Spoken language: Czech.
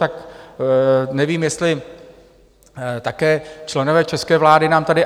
Tak nevím, jestli také členové české vlády nám to...